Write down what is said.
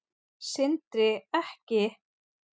Sindri: Ekki?